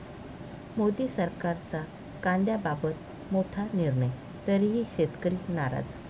मोदी सरकारचा कांद्याबाबत मोठा निर्णय, तरीही शेतकरी नाराज